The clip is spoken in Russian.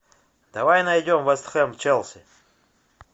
давай найдем вест хэм челси